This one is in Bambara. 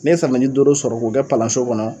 N'e safunɛji dooro sɔrɔ k'o kɛ palanson kɔnɔ